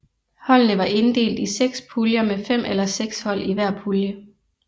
Holdene var inddelt i seks puljer med fem eller seks hold i hver pulje